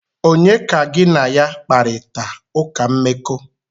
Onye ka gi na ya kparita uka mmeko?